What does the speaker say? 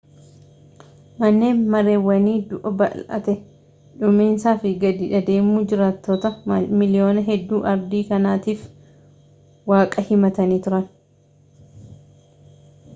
manneen mareewwanii du'a bal'ate dhuuminsaa fi gadi adeemuu jiraattota miliyoona hedduu ardii kanaatiif waaqa himatanii turan